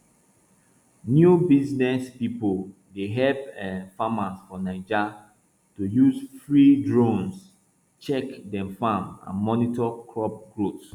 new business people dey help um farmers for naija to use free drones check dem farm and monitor crop growth